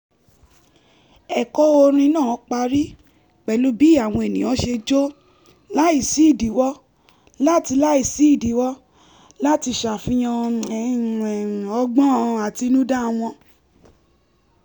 ẹ̀kọ́ orin náà parí pẹ̀lú bí àwọn ènìyàn ṣe jó láìsídìíwọ́ láti láìsídìíwọ́ láti ṣàfihàn ọgbọ́n àtinúdá wọn